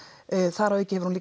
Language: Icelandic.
þar að auki hefur hún